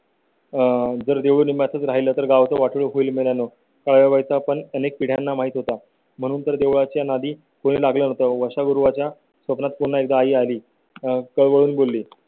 आह जर देवणी मात्र राहिला तर गावऽ वाढ होईल मिळवायचा पण अनेक पिढ्यांना माहीत होता म्हणून तर देवळ्या च्या आधी कुठे लागलं होतं? वळवा च्या स्वप्नात पुन्हा एकदा आई आलीकळवळून बोलली.